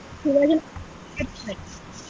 Shivaji Nagar .